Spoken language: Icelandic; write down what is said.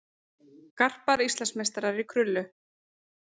Garpar Íslandsmeistarar í krullu